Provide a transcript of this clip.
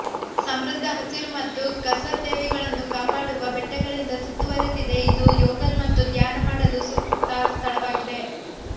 ಸಮೃದ್ಧ ಹಸಿರು ಮತ್ತು ಕಸರ್ ದೇವಿಗಳನ್ನು ಕಾಪಾಡುವ ಬೆಟ್ಟಗಳಿಂದ ಸುತ್ತುವರಿದಿದೆ ಇದು ಯೋಗ ಮತ್ತು ಧ್ಯಾನ ಮಾಡಲು ಸೂಕ್ತ ಸ್ಥಳವಾಗಿದೆ